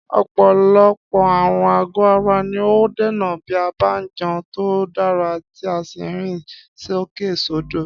Ọ̀pọ̀lọpọ̀ àrùn àgọ́ ara ni a óò dènà bí a bá jẹun tó dára tí a sì ń rìn sókèsódò